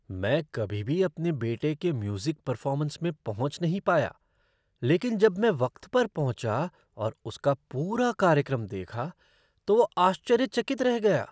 मैं कभी भी अपने बेटे के म्यूज़िक परफ़ॉर्मेस में पहुँच नहीं पाया लेकिन जब मैं वक्त पर पहुँचा और उसका पूरा कार्यक्रम देखा, तो वो आश्चर्यचकित रह गया।